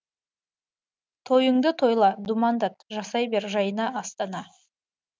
тойыңды тойла думандат жасай бер жайна астана